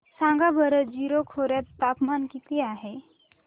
सांगा बरं जीरो खोर्यात तापमान किती आहे